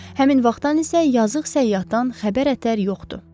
Həmin vaxtdan isə yazıq səyyahdan xəbər ətər yoxdur.